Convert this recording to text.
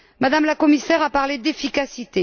Mme la commissaire a parlé d'efficacité.